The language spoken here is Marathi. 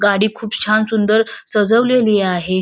गाडी खूप छान सुंदर सजवलेली आहे.